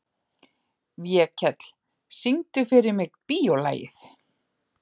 Vékell, syngdu fyrir mig „Bíólagið“.